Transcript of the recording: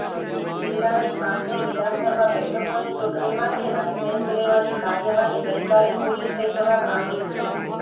જિલ્લાની પાંચેય વિધાનસભા બેઠકોની ચુંટણી માટેના સેન્સ લેવાની કાર્યવાહી ગઈકાલે પુરી થઈ જવા પામી છે